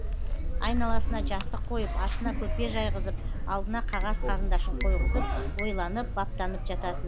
айналасына жастық қойып астына көрпе жайғызып алдына қағаз қарындашын қойғызып ойланып баптанып жататын